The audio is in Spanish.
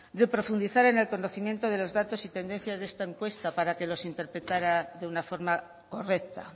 de profundizar en el conocimiento de los datos y tendencia de esta encuesta para que los interpretara de una forma correcta